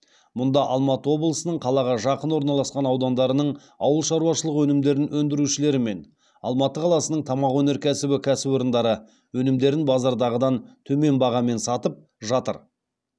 мұнда алматы облысының қалаға жақын орналасқан аудандарының ауылшаруашылық өнімдерін өндірушілері мен алматы қаласының тамақ өнеркәсібі кәсіпорындары өнімдерін базардағыдан төмен бағамен сатып жатыр